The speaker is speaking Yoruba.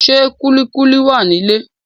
Ṣé kúlíkúlí wà ní ilé?